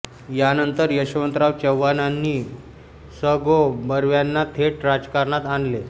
यानंतर यशवंतराव चव्हाणांनी स गो बर्व्यांना थेट राजकारणात आणले